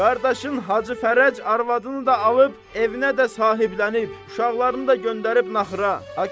Qardaşın Hacı Fərəc arvadını da alıb evinə də sahiblənib, uşaqlarını da göndərib naxıra.